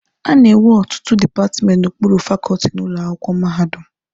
A na-enwe ọtụtụ dipatmenti n'okpuru fakọọtị n'ụlọ akwụkwọ mahadum.